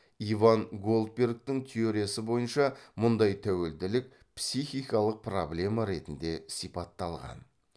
иван голдбергтің теориясы бойынша мұндай тәуелділік психикалық проблема ретінде сипатталған